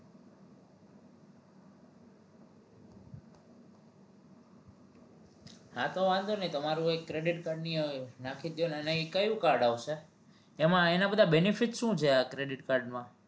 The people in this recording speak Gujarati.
હા તો વાંધો નહિ તમારું એક credit card ની નાખી દયો ને અને એ કયું card આવશે એમાં એના બધા benefit શું છે આ credit card માં